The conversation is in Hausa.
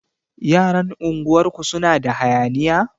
Yaran unguwar ku suna da hayaniya?